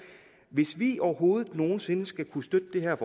hvis vi overhovedet nogen sinde skal kunne støtte det her